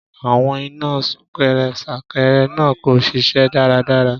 Àwọn iná súnkẹrẹ-fàkẹrẹ náà kò ṣiṣẹ́ dáradára.